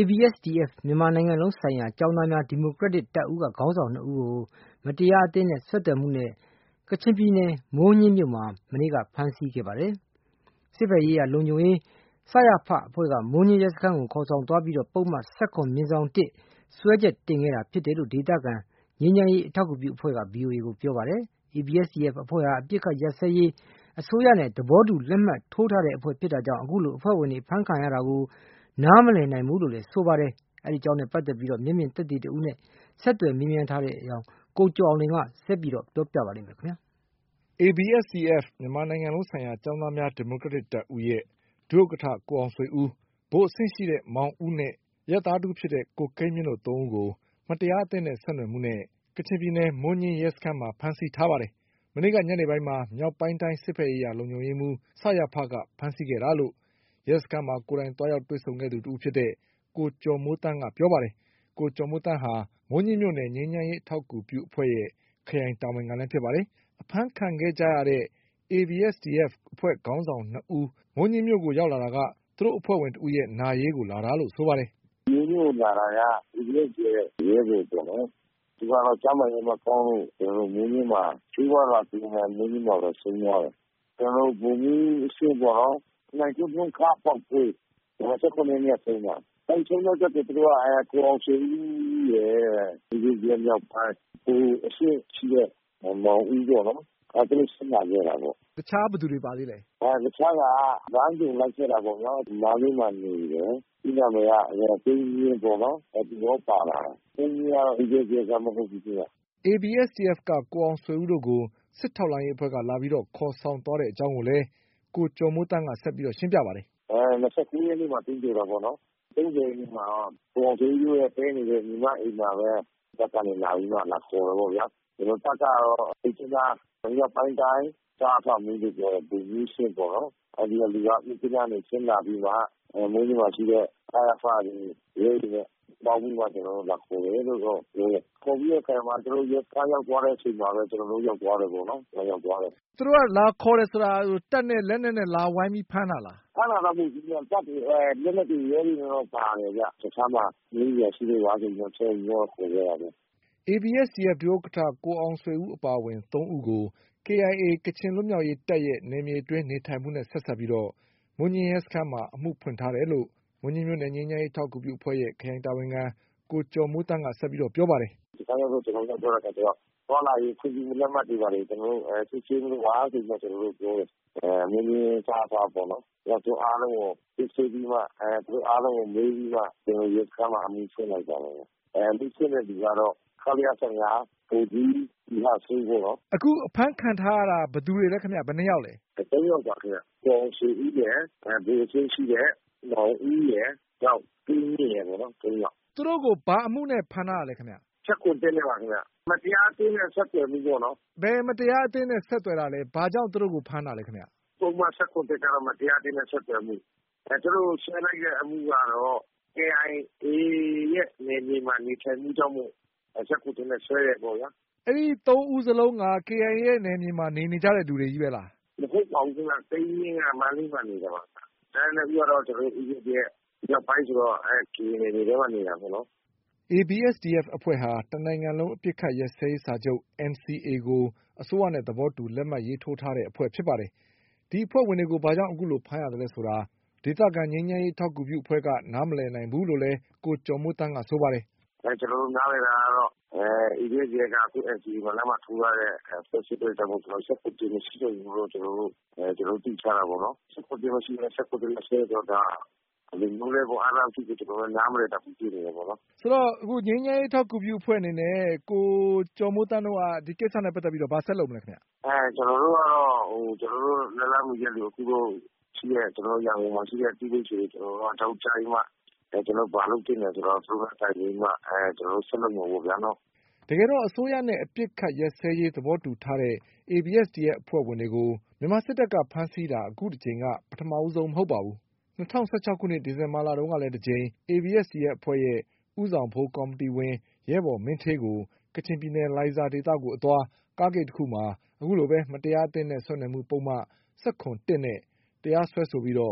ABSDF မြန်မာနိုင်ငံလုံးဆိုင်ရာကျောင်းသားများဒီမိုကရက်တစ်တပ်ဦးက ခေါင်းဆောင် ၂ ဦးကို မတရား အသင်းနဲ့ဆက်သွယ်မှုပုဒ်မနဲ့ ကချင်ပြည်နယ်မိုးညှင်းမြို့မှာ မနေ့ကဖမ်းဆီးခဲ့ပါတယ်။ စစ်ဘက်ရေးရာလုံခြုံရေး အဖွဲ့က မိုးညှင်းရဲစခန်း ကို ခေါ်ဆောင်သွားပြီး ပုဒ်မ ၁၇/၁ နဲ့စွဲချက်တင်ခဲ့တာဖြစ်တယ်လို့ ဒေသခံ ငြိမ်းချမ်းရေး အထောက်အကူပြုအဖွဲ့က ဗွီအိုအေ ကိုပြောပါတယ်။ ABSDF အဖွဲ့ဟာ အပစ်အခတ်ရပ်စဲရေး အစိုးရနဲ့သဘောတူလက်မှတ်ထိုးထားတဲ့အဖွဲ့ဖြစ်တာကြောင့် အခုလို အဖွဲ့ဝင်တွေအဖမ်းခံရတာကို နားမလည် နိုင်ဘူးလို့လည်းဆိုပါတယ်။ ဒီအကြောင်းနဲ့ပတ်သက်ပြီး မျက်မြင်သက်သေတဦးနဲ့ ဆက်သွယ်မေးမြန်းထားတဲ့ ကိုကျော်အောင်လွင်က တင်ပြပေးထားပါတယ်။ ABSDF မြန်မာနိုင်ငံလုံးဆိုင်ရာကျောင်းသားများဒီမိုကရက်တစ်တပ်ဦး ရဲ့ဒုဥက္ကဋ္ဌ ကိုအောင်ဆွေဦး၊ ဗိုလ်အဆင့်ရှိတဲ့ မောင်ဦးနဲ့ အရပ်သားတဦးဖြစ်တဲ့ ကိုကိန်းမြင့်တို့သုံးဦးကို မတရားအသင်းနဲ့ ဆက်နွယ်မှုနဲ့ ကချင်ပြည်နယ်မိုးညှင်း ရဲစခန်းမှာ ဖမ်းဆီးထားပါတယ်။ မနေ့ကညနေပိုင်းမှာ မြောက်ပိုင်းတိုင်း စစ်ဘက်ရေးရာလုံခြုံရေးမှူး ကဖမ်းဆီးခဲ့တာလို့ ရဲစခန်းမှာ ကိုယ်တိုင်သွားတွေ့ဆုံခဲ့သူတဦးဖြစ်တဲ့ ကိုကျော်မိုးသန်းက ပြောပါတယ်။ ကိုကျော်မိုးသန်းဟာ မိုးညှင်းမြို့နယ် ငြိမ်းချမ်းရေး အထောက်အကူပြုအဖွဲ့ရဲ့ ခရိုင်တာဝန်ခံလည်းဖြစ်ပါတယ်။ အဖမ်းခံခဲ့ကြရတဲ့ ABSDF အဖွဲ့ခေါင်းဆောင်၂ ဦး မိုးညှင်းမြို့ကို ရောက်တာက သူတို့အဖွဲ့ဝင်တဦးရဲ့နာရေးကိုလာတာလို့ဆိုပါတယ်။ “သူတို့လာတာက ABSDF ရဲ့ရဲဘော်ပေါ့နော် - ဗိုလ်ကြီးအဆင့်ပေါ့နော်-- သူကတော့ ကျန်းမာရေးမကောင်းလို့ ဆေးဝါးလာကုရင်း မိုးညှင်းမှာပဲဆုံးသွားတယ်။ ၂၇ ရက်နေ့က ဆုံးသွားတာ။ ကိုအောင်ဆွေဦးရယ်- ABSDF မြောက်ပိုင်း၊ ဗိုလ်အဆင့်ရှိတဲ့ မောင်ဦးပေါ့နော်-သူတို့ ဆင်းလာကြတာပေါ့။” တခြား ဘယ်သူတွေပါသေးလဲ။ တခြားက လမ်းကြုံလိုက်ခဲ့တာပေါ့ဗျာ-မန္တလေးမှာနေတယ်။ ABSDF မြောက်ပိုင်းက ကိုအောင်ဆွေဦးတို့ကို စစ်ထောက်လှမ်းရေးအဖွဲ့က လာပြီး ခေါ်ဆောင်သွားကြောင်းကို လည်း ကိုကျော်မိုးသန်းကဆက်ရှင်းပြပါတယ်။ “၂၉ ရက်နေ့မှာ သင်္ဂြိုဟ်တာပေါ့နော်၊ သင်္ဂြိုဟ်ပြီးတဲ့အချိန်မှာ ကိုအောင်ဆွေဦးတို့တည်းနေတဲ့ ညီမအိမ်မှာပဲ လာပြီးမှ လာခေါ်တယ်ပေါ့ဗျာ။ တပ်ကတော့…မြစ်ကြီးနား မြောက်ပိုင်းတိုင်း က စရဖမှူးလို့ ပြောတယ်။…ဗိုလ်ကြီးအဆင့်ပေါ့နော်-သူက မြစ်ကြီးနားကနေ ဆင်းလာပြီးမှ မိုးညှင်းမှာရှိတဲ့ စရဖတွေ၊ ရဲတွေနဲ့လာခေါ်တယ်လို့တော့ ပြောတယ်။ သူတို့ ရဲစခန်းရောက်သွားတဲ့အချိန်မှာ ကျနော်တို့ ရောက်သွားတယ်ပေါ့နော်။” သူတို့က လာခေါ်တယ်ဆိုတာက တပ်နဲ့ လက်နက်နဲ့ လာဝိုင်းပြီး ဖမ်းတာလား။ ဖမ်းတာတော့ မဟုတ်ဘူးဗျ။ တပ်တွေ၊ လက်နက်တွေ၊ ရဲတွေတော့ ပါတယ်ဗျ။ တခြားမှာ ရဲအရာရှိတွေ….. ABSDF ဒုက္ကဋ္ဌ ကိုအောင်ဆွေဦးအပါအဝင် သုံးဦးကို KIA ကချင်လွတ်မြောက်ရေးတပ်ရဲ့နယ်မြေအတွင်း နေထိုင်မှုနဲ့ဆက်စပ်ပြီး မိုးညှင်းရဲစခန်းမှာ အမှုဖွင့်ထားတယ်လို့ မိုးညှင်းမြို့နယ်ငြိမ်းချမ်းရေး အထောက်အကူပြု အဖွဲ့ရဲ့ခရိုင်တာဝန်ခံ ကိုကျော်မိုးသန်းကဆက်ပြောပါတယ်။ “....သွားလာရေးခွင့်ပြုချက် လက်မှတ်တွေ ဘာတွေ စစ်ဆေးပေးပါ-ဆိုပြီးတော့ ကျနော်တို့ ပြောတယ်။ နယ်မြေခြားသွား-ပေါ့နော်။ သူတို့အားလုံးကို စစ်ဆေးပြီးတော့မှ သူတို့အားလုံးကို မေးပြီးမှ ရဲစခန်းမှာ အမှုဖွင့်လိုက်တာပါ။ ဖွင့်တဲ့သူကတော့ ခလရ ၁၅ ဗိုလ်ကြီး သီဟစိုး…ပေါ့နော်…” အခုအဖမ်းခံထားရတာ ဘယ်သူတွေလဲခင်ဗျ။ ဘယ်နှစ်ယောက်လဲ။ သုံးယောက်ပါခင်ဗျ။ ကိုအောင်ဆွေဦးရယ်၊ ဗိုလ်အဆင့်ရှိတဲ့မောင်ဦးရယ်။ နောက် ကိုကိန်းမြင့်ရယ် ပေါ့နော်။ သုံးယောက်။ သူတို့ကို ဘာအမှုနဲ့ ဖမ်းထားတာလဲခင်ဗျ။ ၁၇/၁ နဲ့ပါ ခင်ဗျ။ မတရားအသင်းနဲ့ ဆက်သွယ်မှုပေါ့နော်။ ဘယ်မတရားအသင်းနဲ့ ဆက်သွယ်တာလဲ၊ ဘာကြောင့် သူတို့ကို ဖမ်းတာလဲခင်ဗျ။ ပုဒ်မ ၁၇/၁ က မတရားအသင်းနဲ့ဆက်သွယ်မှု၊ သူတို့ကို စွဲလိုက်တဲ့အမှုကတော့ KIA ရဲ့နယ်မြေမှာ နေထိုင်မှုကြောင့် ၁၇/၁ နဲ့ စွဲတယ်ပေါ့ဗျာ။ အဲဒီသုံးဦးစလုံးက KIA မှာ နေနေကြတဲ့သူတွေချည့်ပဲလား။ မဟုတ်ပါဘူးခင်ဗျ။ ကိန်းမြင့်က မန္တလေးမှာနေတာပါ။ ကျန်တဲ့နှစ်ဦးကတော့ ABSDF မြောက်ပိုင်းဆိုတော့…ပြည်နယ်ထဲမှာ နေတာပေါ့နော်။ ABSDF အဖွဲ့ဟာ တနိုင်ငံလုံးအပစ်အခတ်ရပ်စဲရေးစာချုပ် NCA ကို အစိုးရနဲ့ သဘောတူ လက်မှတ်ရေးထိုးထားတဲ့အဖွဲ့ဖြစ်ပါတယ်။ ဒီအဖွဲ့ဝင်တွေကို ဘာကြောင့်ဖမ်းရသလဲဆိုတာ ဒေသခံငြိမ်းချမ်းရေး အထောက်ကူပြုအဖွဲ့ကနားမလည်နိုင်ဘူးလို့လည်း ကိုကျော်မိုးသန်းကဆိုပါတယ်။ “ကျနော်တို့နားလည်တာကတော့ ABSDF က NCA မှာလက်မှတ်ထိုးထားတဲ့အဖွဲ့ဖြစ်လို့ ၁၇/၁ မရှိတော့ဘူးလို့ သိထားတာပေါ့နော်။ ၁၇/၁ မရှိဘဲ ၁၇/၁ နဲ့စွဲတယ်ဆိုတော့ ဒါ ဘယ်လိုမျိုးလဲပေါ့။ ကျနော်တို့က ဒါကို နားမလည်တတ်ဘူး ဖြစ်နေတယ်ပေါ့နော်။”…ဆိုတော့ ငြိမ်းချမ်းရေးအထောက်အကူပြုအဖွဲ့အနေနဲ့ ကိုကျော်မိုးသန်းတို့က ဒီကိစ္စနဲ့ပတ်သက်ပြီးတော့ ဘာဆက်လုပ်မလဲခင်ဗျ။ ကျနော်တို့ကတော့ လက်လှမ်းမီသမျှ အခု ရန်ကုန်မှာရှိတဲ့လူတွေကို အကြောင်းကြားပြီးတော့မှ ကျနော်တို့ ဘာလုပ်သင့်တယ်ဆိုတာကို တိုင်ပင်ပြီးတော့မှ ဆက်လုပ်မယ်ပေါ့ဗျာ-နော။ တကယ်တော့ အစိုးရနဲ့အပစ် အခပ်ရပ်စဲရေးသဘောတူထားတဲ့ ABSDF အဖွဲ့ဝင်တွေကို မြန်မာစစ်တပ်က ဖမ်းဆီးတာ အခုတကြိမ်က ပထမဆုံးမဟုတ်ပါဘူး။ ၂၀၁၆ခုနှစ်ဒီဇင်ဘာလတုန်းကလည်း တကြိမ် ABSDF အဖွဲ့ရဲ့ ဦးဆောင်ဗဟိုကော်မီတီဝင် ရဲဘော်မင်းဌေးကို ကချင်ပြည် နယ်လိုင်ဇာဒေသကိုအသွား ကားဂိတ် တခုမှာ အခုလိုပဲမတရားအသင်းနဲ့ ဆက်နွယ်မှုပုဒ်မ ၁၇/၁ နဲ့တရားစွဲဆိုပြီး ၈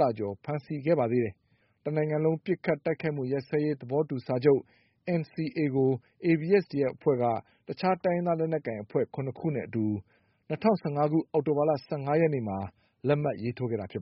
လ ကျော်ကြာ ဖမ်းဆီးခဲ့ပါ သေးတယ်။ တနိုင်ငံလုံးပစ်ခတ်တိုက်ခိုက်မှုရပ်စဲရေးသဘောတူစာချုပ် NCAကို ABSDF အဖွဲ့က တခြား တိုင်းရင်းသားလက်နက်ကိုင်အဖွဲ့ ၇ ခုနဲ့အတူ ၂၀၁၅ ခု၊ အောက်တိုဘာလ ၁၅ ရက်နေ့မှာ လက်မှတ်ရေးထိုးခဲ့တာပါ